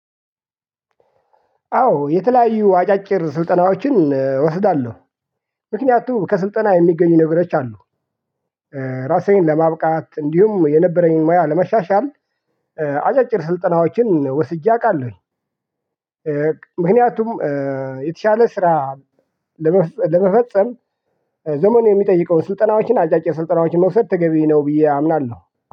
አዎ የተለያዩ አጫጭር ስልጠናዎችን እወስዳለሁ። ምክንያቱም ከስልጠና የሚገኙ ነገሮች አሉ። ራሴን ለማብቃት እንዲሁም የነበረኝን ሙያ ለመሻሻል። አጫጭር ስልጠናዎችን ወስጄ አውቃለሁኝ። ምክንያቱም የተሻለ ስራ ለመፈ ለመፈጸም ዘመኑ የሚጠይቀው ስልጠናዎችን አጫጭር ስልጠናዎችን መውሰድ ተገቢ ነው ብዬ አምናለሁ